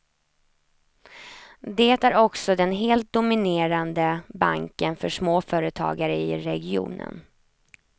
Det är också den helt dominerande banken för småföretagare i regionen.